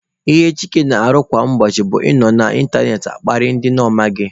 Ihe Chike na-arụ kwa ụbọchị bụ ị nọ na ịntanetị akparị ndị ọ maghị.